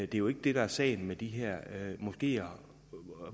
det er jo ikke det der er sagen med de her moskeer